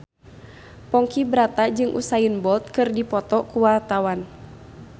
Ponky Brata jeung Usain Bolt keur dipoto ku wartawan